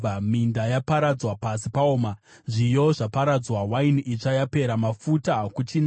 Minda yaparadzwa, pasi paoma; zviyo zvaparadzwa, waini itsva yapera, mafuta hakuchina.